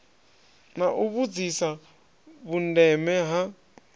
na u vhudzisa vhundeme ha